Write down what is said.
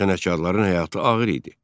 Sənətkarların həyatı ağır idi.